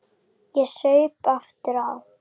Ég saup aftur á.